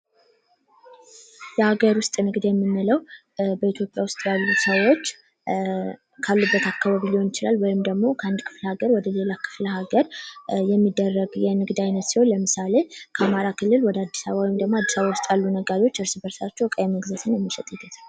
የሀገር ውስጥ ንግድ የምንለው በኢትዮጵያ ውስጥ ያሉ ሰዎች ካሉበት አካባቢ ሊሆን ይችላል ወይም ደግሞ ከአንድ ክፍለ ሀገር ወደሌላ ክፍለ ሀገር የሚደረግ የንግድ አይነት ሲሆን ለምሳሌ ከአማራ ክልል ወደ አድስ አበባ ወይም አድስ አበባ ውስጥ ያሉ ነጋዴዎች እርስበርሳቸው እቃዎችን መሸጥና መግዛት ይችላሉ።